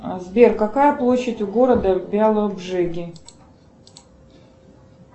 сбер какая площадь у города беалоджиги